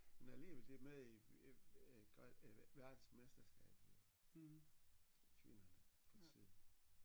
Men alligevel de er med i i øh grøn øh verdensmesterskabet iggå kvinderne for tiden